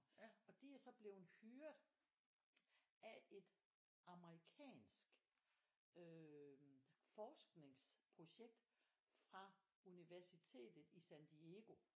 Og de er så bleven hyret af et amerikansk øhm forskningsprojekt fra universitet i San Diego